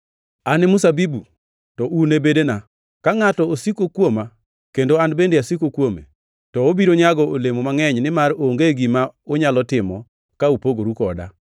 “An e mzabibu, to un e bedene. Ka ngʼato osiko kuoma kendo an bende asiko kuome, to obiro nyago olemo mangʼeny, nimar onge gima unyalo timo ka upogoru koda.